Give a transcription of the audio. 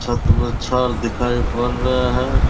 छत में छर दिखाई पड़ रहे है --